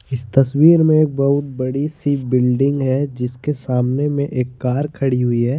इस तस्वीर में एक बहुत बड़ी सी बिल्डिंग है जिसके सामने में एक कार खड़ी हुई है।